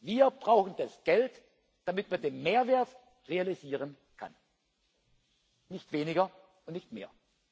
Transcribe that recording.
Wir brauchen das Geld, damit wir den Mehrwert realisieren können nicht weniger und nicht mehr.